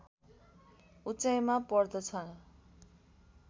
उचाइमा पर्दछ